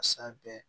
A san bɛɛ